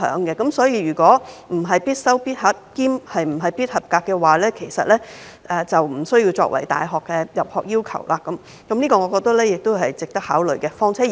因此，如果通識科不是"必修必考必合格"，這科的成績便不會列入大學的入學要求，我覺得這是值得考慮的。